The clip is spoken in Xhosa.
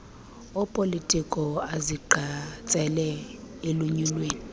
opolitiko azigqatsela elunyulweni